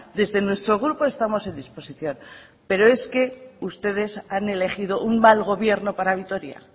desde nuestro grupo estamos en disposición pero es que ustedes han elegido un mal gobierno para vitoria